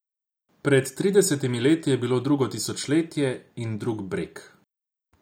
Pred tridesetimi leti je bilo drugo tisočletje in drug breg.